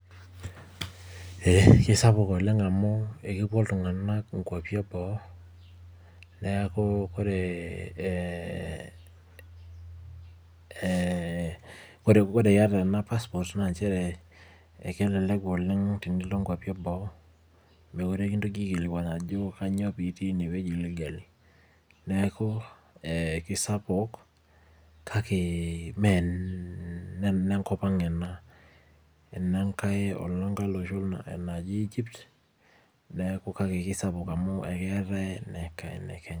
Ee kisapuk oleng' amu ekepuo iltung'anak inkwapi eboo, neeku ore, ore yata ena passport na njere elelek oleng' enilo nkwapi eboo, mekure kintoki aikilikwan ajo kanyioo pitii enewueji nigel. Neeku, kisapuk kake menenkop ang ena. Enenkae olosho naji Egypt, neeku kake kisapuk amu ekeetae ene Kenya.